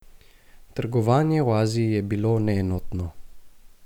Trgovanje v Aziji je bilo neenotno.